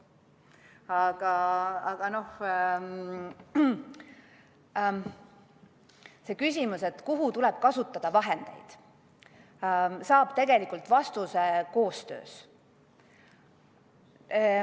Aga see küsimus, et kuhu tuleb suunata vahendid, saab tegelikult vastuse koostöös.